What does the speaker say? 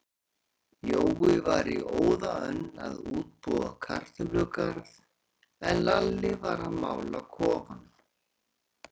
Jói var í óða önn að útbúa kartöflugarð, en Lalli var að mála kofann.